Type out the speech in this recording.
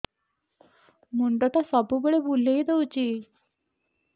ମୁଣ୍ଡଟା ସବୁବେଳେ ବୁଲେଇ ଦଉଛି